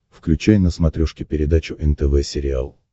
включай на смотрешке передачу нтв сериал